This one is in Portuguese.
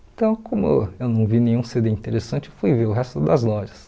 Então, como eu não vi nenhum cê dê interessante, fui ver o resto das lojas.